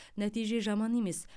нәтиже жаман емес